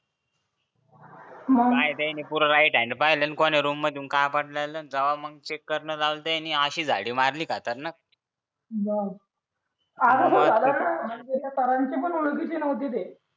मग नाय पूर्ण राईट पाहिलं कोणी रूम मधून कापड जेव्हा मग काय करणार लावलं होतं यांनी अशी झाडी मारली खतरनाक म असं झालं ना मग सरांच्या ओळखीचे नव्हते ते